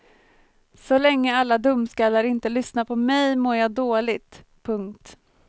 Så länge alla dumskallar inte lyssnar på mig mår jag dåligt. punkt